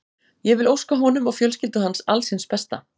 Ég vil óska honum og fjölskyldu hans alls hins besta.